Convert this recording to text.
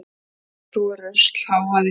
Grjóthrúgur, rusl, hávaði.